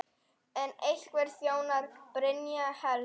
En hverjum þjónar Brynja helst?